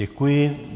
Děkuji.